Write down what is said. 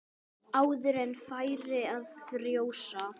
Áður en færi að frjósa.